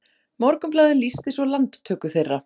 Morgunblaðið lýsti svo landtöku þeirra